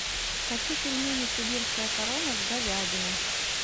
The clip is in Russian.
хочу пельмени сибирская корона с говядиной